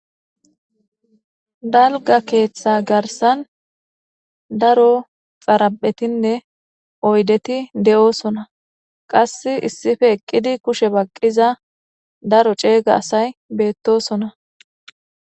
Dalga ketta garisan daro daradhetinne oyideti de,osona qasi issippe iqidi kushe baqida daro cegga asati de,osona